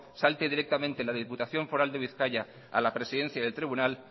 salte directamente de la diputación foral de bizkaia a la presidencia del tribunal